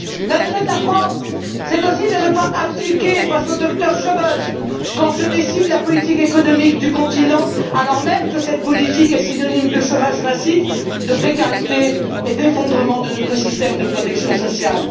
L'intérêt de la France, c'est aussi de ne pas abdiquer face au Dr Schaüble quand se décide la politique économique du continent, alors même que cette politique est synonyme de chômage massif, de précarité et d'effondrement de notre système de protection sociale.